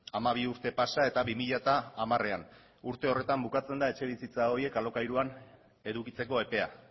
hamabi urte pasa eta bi mila hamarean urte horretan bukatzen da etxebizitza horiek alokairuan edukitzeko epea